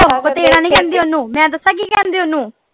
ਨਹੀਂ ਕਹਿੰਦੇ ਓਹਨੂੰ ਮੈਂ ਦੱਸਾਂ ਕੀ ਕਹਿੰਦੇ ਓਹਨੂੰ।